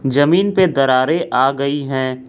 जमीन पे दरारें आ गई हैं।